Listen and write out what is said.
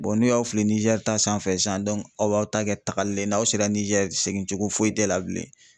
n'u y'a wili ni Nizɛri ta sanfɛ sisan aw b'aw ta kɛ tagali ye n'aw sera nizɛri segin cogo foyi t'e la bilen